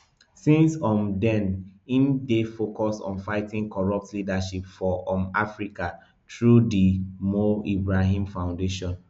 since um den im dey focused on fighting corrupt leadership for um africa through di mo ibrahim foundation